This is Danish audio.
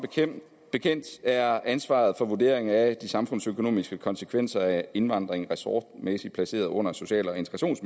bekendt er ansvaret for vurderingen af de samfundsøkonomiske konsekvenser af indvandringen ressortmæssigt placeret under social og